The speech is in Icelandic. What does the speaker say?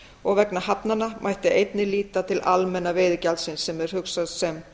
og vegna hafnanna mætti einnig líta til almenna veiðigjaldsins sem er hugsað sem